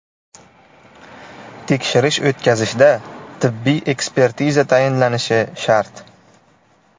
Tekshirish o‘tkazishda tibbiy ekspertiza tayinlanishi shart.